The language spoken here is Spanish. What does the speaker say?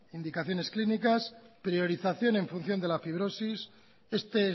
indicaciones clínicas priorización en función de la fibrosis este